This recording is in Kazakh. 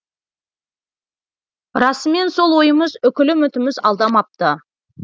расымен сол ойымыз үкілі үмітіміз алдамапты